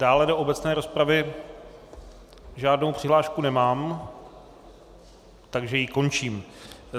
Dále do obecné rozpravy žádnou přihlášku nemám, takže ji končím.